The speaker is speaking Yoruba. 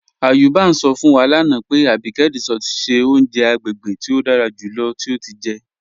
Ayuba n sọ fún wa lánà pé Àbíkẹ̀ Résọ̀tì ṣẹ ọ̀uǹjẹ̀ àgbégébè tí o dára júlọ̀ tí o ti jẹ́.